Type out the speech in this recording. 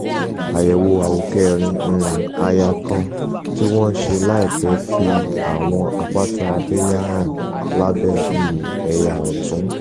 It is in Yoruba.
àyèwò àwòkérin um àyà kan tí wọn ṣe láìpẹ fi àwọn àpáta abẹẹyà hàn lábẹ um ẹyà ọtún um